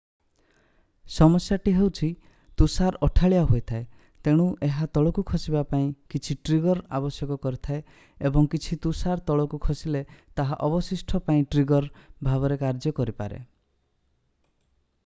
ସମସ୍ୟାଟି ହେଉଛି ତୁଷାର ଅଠାଳିଆ ହୋଇଥାଏ ତେଣୁ ଏହା ତଳକୁ ଖସିବା ପାଇଁ କିଛି ଟ୍ରିଗର୍ ଆବଶ୍ୟକ କରିଥାଏ ଏବଂ କିଛି ତୁଷାର ତଳକୁ ଖସିଲେ ତାହା ଅବଶିଷ୍ଟ ପାଇଁ ଟ୍ରିଗର୍ ଭାବରେ କାର୍ଯ୍ୟ କରିପାରେ